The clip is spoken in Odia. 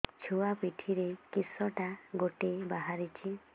ଛୁଆ ପିଠିରେ କିଶଟା ଗୋଟେ ବାହାରିଛି